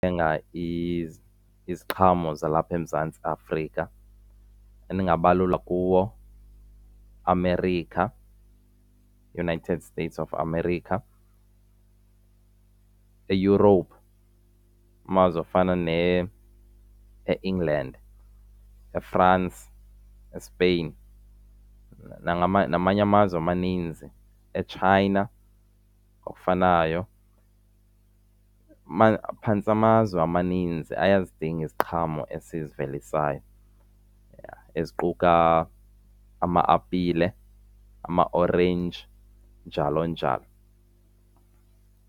iziqhamo zalapha eMzantsi Afrika bendingabalula kuwo iAmerica, iUnited States of America, eEurope, amazwe afana neEngland, eFrance, eSpain namanye amazwe amaninzi. EChina okufanayo, phantse amazwe amaninzi ayazidinga iziqhamo esizivelivisayo eziquka ama-apile, amaorenji njalo, njalo.